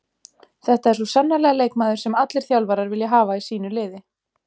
Þetta er svo sannarlega leikmaður sem allir þjálfarar vilja hafa í sínu liði.